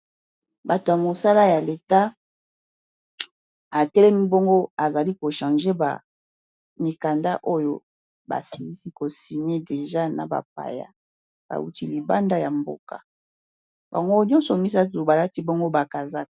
Bato ya mosala ya leta atelemi bongo azali ko change ba mikanda oyo basilisi ko signe deja na bapaya bawuti libanda ya mboka bango nyonso misato balati bongo bakazaka.